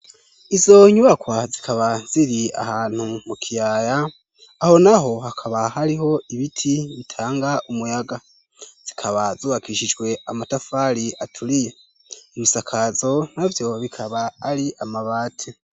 Izo nyubakwa zikaba ziri ahantu mu kiyaya, aho naho hakaba hariho ibiti bitanga umuyaga. Zikaba zubakishijwe amatafari aturiye. Ibisakazo navyo bikaba ari amabati.